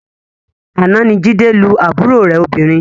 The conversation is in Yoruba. Àná ni Jídé lu àbúrò rẹ̀ obìnrin